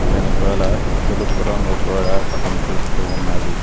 వెనకాల తెలుపు రంగు గోడ కనిపిస్తూ ఉన్నది.